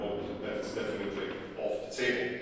I hope that is definitely off the table.